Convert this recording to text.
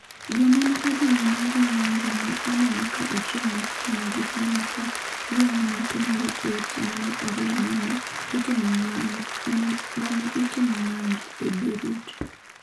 Joma ne odhi nyime gi ng’anjo ne oneno ka ochung’ machiegni gi hema ka giwang’o nyathi moro e otieno mar ariyo ma ne itimo ng’anjo e Beirut